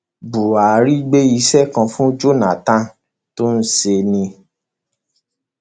buhari gbé iṣẹ kan fún jonathan tó ń ṣe ni